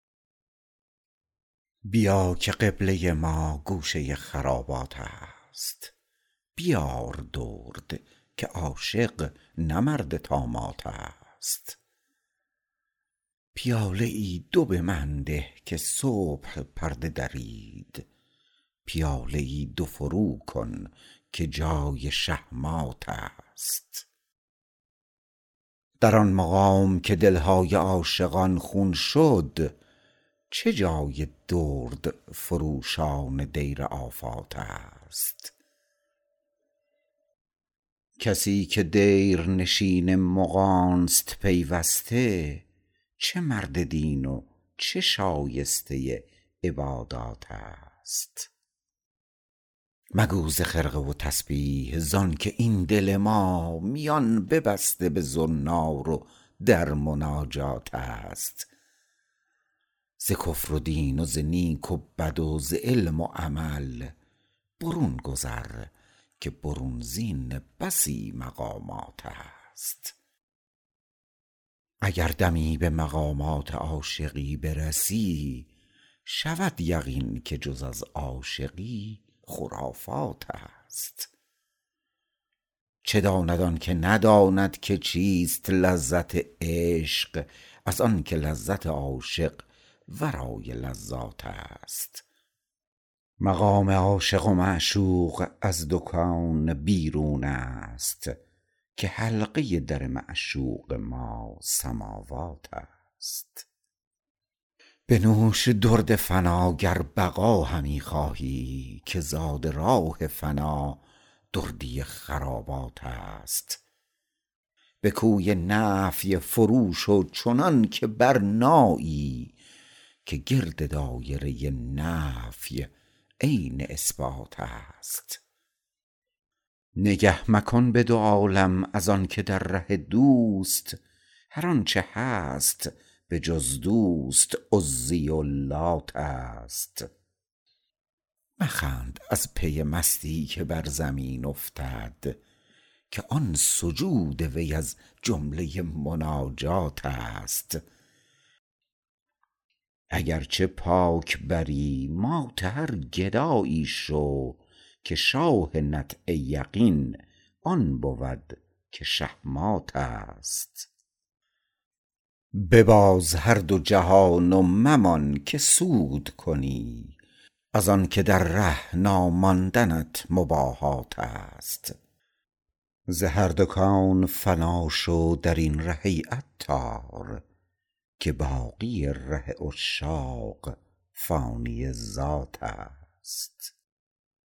بیا که قبله ما گوشه خرابات است بیار باده که عاشق نه مرد طامات است پیاله ای دو به من ده که صبح پرده درید پیاده ای دو فرو کن که وقت شه مات است در آن مقام که دلهای عاشقان خون شد چه جای دردفروشان دیر آفات است کسی که دیرنشین مغانست پیوسته چه مرد دین و چه شایسته عبادات است مگو ز خرقه و تسبیح ازانکه این دل مست میان ببسته به زنار در مناجات است ز کفر و دین و ز نیک و بد و ز علم و عمل برون گذر که برون زین بسی مقامات است اگر دمی به مقامات عاشقی برسی شود یقینت که جز عاشقی خرافات است چه داند آنکه نداند که چیست لذت عشق از آنکه لذت عاشق ورای لذات است مقام عاشق و معشوق از دو کون بیرون است که حلقه در معشوق ما سماوات است بنوش درد و فنا شو اگر بقا خواهی که زادراه فنا دردی خرابات است به کوی نفی فرو شو چنان که برنایی که گرد دایره نفی عین اثبات است نگه مکن به دو عالم از آنکه در ره دوست هر آنچه هست به جز دوست عزی و لات است مخند از پی مستی که بر زمین افتد که آن سجود وی از جمله مناجات است اگرچه پاک بری مات هر گدایی شو که شاه نطع یقین آن بود که شه مات است بباز هر دو جهان و ممان که سود کنی از آنکه در ره ناماندنت مباهات است ز هر دو کون فنا شو درین ره ای عطار که باقی ره عشاق فانی ذات است